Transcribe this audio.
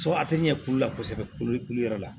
a tɛ ɲɛ k'olu la kosɛbɛ kulu yɔrɔ la